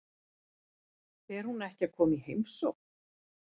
Fer hún ekki að koma í heimsókn?